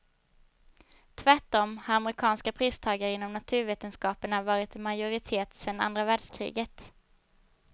Tvärtom, har amerikanska pristagare inom naturvetenskaperna varit i majoritet sedan andra världskriget.